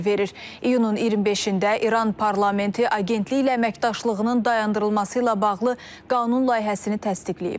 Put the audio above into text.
İyunun 25-də İran parlamenti agentliklə əməkdaşlığının dayandırılması ilə bağlı qanun layihəsini təsdiqləyib.